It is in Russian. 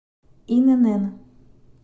инн